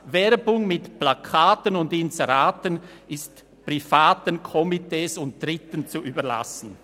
«Werbung mit Plakaten und Inseraten ist [unter den gegebenen Umständen] privaten Komitees und Dritten zu überlassen.